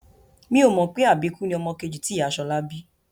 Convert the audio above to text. N ò mọ̀ pé àbíkú ni ọmọ kejì tí ìyá Ṣọlá bí